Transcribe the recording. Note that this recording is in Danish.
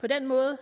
på den måde